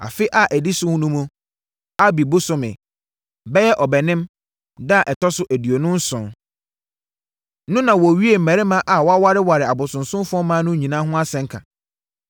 Afe a ɛdi so no mu, Abib bosome (bɛyɛ Ɔbɛnem) da a ɛtɔ so aduonu nson no na wɔawie mmarima a wɔawareware abosonsomfoɔ mmaa no nyinaa ho asɛnka.